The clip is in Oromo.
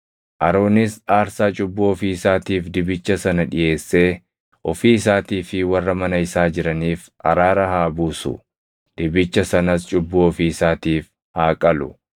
“Aroonis aarsaa cubbuu ofii isaatiif dibicha sana dhiʼeessee ofii isaatii fi warra mana isaa jiraniif araara haa buusu; dibicha sanas cubbuu ofii isaatiif haa qalu.